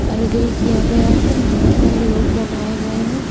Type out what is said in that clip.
कारीगरी किया गया है बहुत सारे लोग बनाए गए हैं--